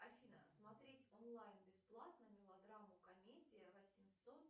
афина смотреть онлайн бесплатно мелодраму комедия восемьсот